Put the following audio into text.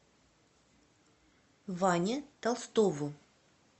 ване толстову